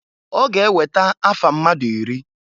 Ọga eweta afa mmadụ iri.